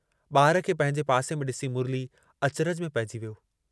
ॿार खे पंहिंजे पासे में ॾिसी मुरली अचिरज में पइजी वियो।